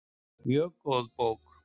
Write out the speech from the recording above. Mjög góð bók.